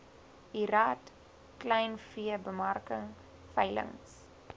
lrad kleinveebemarking veilings